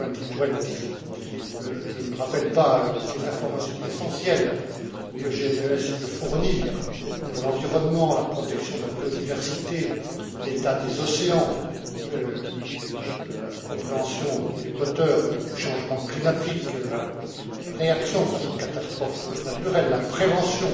2020. Je ne rappelle pas toutes les informations essentielles que GMES peut fournir pour l'environnement, la protection de la biodiversité, l'état des océans, la compréhension des moteurs du changement climatique, la réaction face aux catastrophes naturelles, la prévention